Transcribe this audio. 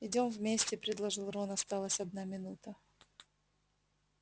идём вместе предложил рон осталась одна минута